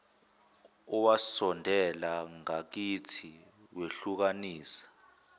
owasondela ngakithi wehlukanisa